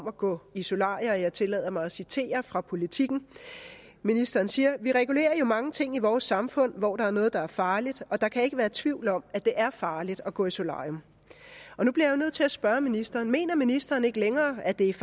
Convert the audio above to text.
at gå i solarier og jeg tillader mig at citere fra politiken ministeren siger vi regulerer jo mange ting i vores samfund hvor der er noget der er farligt og der kan ikke være tvivl om at det er farligt at gå i solarium nu bliver jeg nødt til at spørge ministeren mener ministeren ikke længere at det er